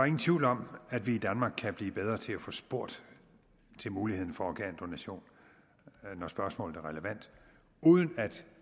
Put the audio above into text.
ingen tvivl om at vi i danmark kan blive bedre til at få spurgt til muligheden for organdonation når spørgsmålet er relevant uden at